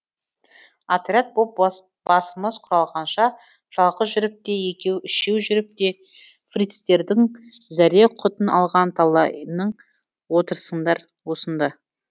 отряд боп басымыз құралғанша жалғыз жүріп те екеу үшеу жүріп те фрицтердің зәре құтын алған талайың отырсыңдар осында